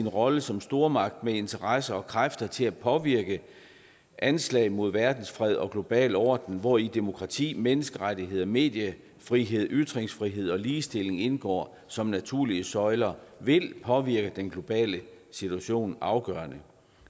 rollen som stormagt med interesser og kræfter til at påvirke anslag mod verdensfred og global orden hvori demokrati menneskerettigheder mediefrihed ytringsfrihed og ligestilling indgår som naturlige søjler vil påvirke den globale situation afgørende